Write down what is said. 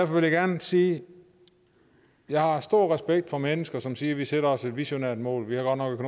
vil jeg gerne sige at jeg har stor respekt for mennesker som siger vi sætter os et visionært mål vi har godt nok